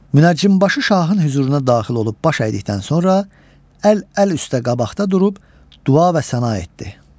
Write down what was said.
Münəccimbaşı şahın hüzuruna daxil olub baş əydikdən sonra əl əl üstə qabaqda durub dua və səna etdi.